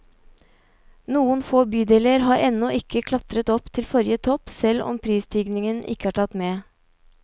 Noen få bydeler har ennå ikke klatret opp til forrige topp selv om prisstigningen ikke er tatt med.